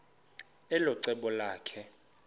elo cebo lakhe